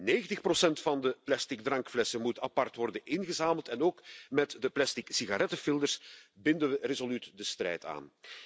90 van de plastic drankflessen moet apart worden ingezameld en ook met de plastic sigarettenfilters binden we resoluut de strijd aan.